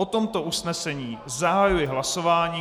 O tomto usnesení zahajuji hlasování.